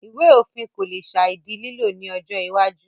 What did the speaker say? Ìwé òfin kò le sàì di lílò ní ọjọ́ iwájú